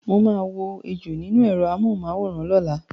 Mo maa wo ejò nínú èrọ amóhùn mu àwòrán lọ́la